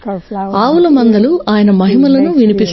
ఆవు మందలు ఆయన మహిమలను వినిపిస్తాయి